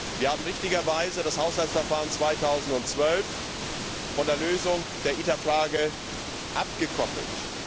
Wir haben richtigerweise das Haushaltsverfahren 2012 von der Lösung der ITER Frage abgekoppelt.